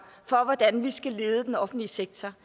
for hvordan vi skal lede den offentlige sektor